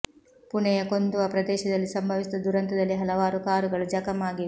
ಪುಣೆಯ ಕೊಂಧ್ವಾ ಪ್ರದೇಶದಲ್ಲಿ ಸಂಭವಿಸಿದ ದುರಂತದಲ್ಲಿ ಹಲವಾರು ಕಾರುಗಳು ಜಖಂ ಆಗಿವೆ